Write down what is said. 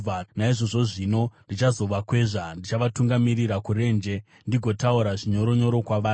“Naizvozvo zvino ndichazovakwezva; ndichavatungamirira kurenje ndigotaura zvinyoronyoro kwavari.